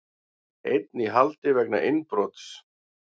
Einn í haldi vegna innbrots